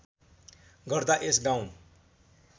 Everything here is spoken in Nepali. गर्दा यस गाउँ